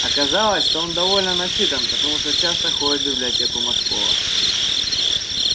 оказалось что он довольно начитан потому что часто ходит в библиотеку мошкова